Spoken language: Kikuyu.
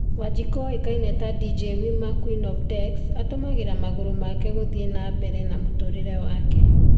Wanjiku oekaini ta 'Dj Wiwa Queen of Decks' atũmagira magũrũ make gũthii na mbere na mũturĩre make